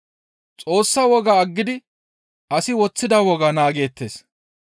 Xoossa wogaa aggidi asi woththida wogaa naageettes.